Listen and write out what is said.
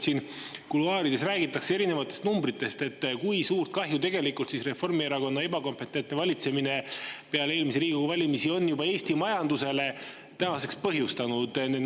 Siin kuluaarides räägitakse erinevatest numbritest, kui suurt kahju tegelikult Reformierakonna ebakompetentne valitsemine peale eelmisi Riigikogu valimisi on Eesti majandusele tänaseks põhjustanud.